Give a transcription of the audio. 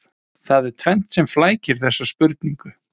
Það er tvennt sem flækir þessa spurningu.